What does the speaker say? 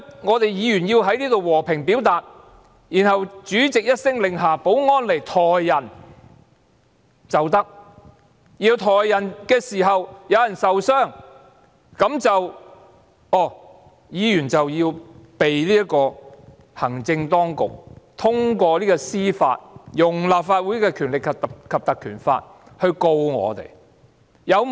我們議員在這裏和平表達意見，然後主席一聲令下，保安人員便可以上前把人抬走；而抬走人時有人受傷，行政當局便透過司法制度，引用《條例》來控告我們。